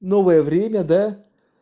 новое время да